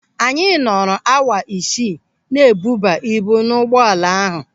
Anyị nọrọ awa isii na-ebuba ibu n'ụgbọala ahụ.